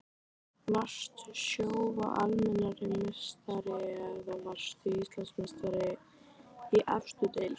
Varstu Sjóvá Almennrar meistari eða varðstu Íslandsmeistari í efstu deild?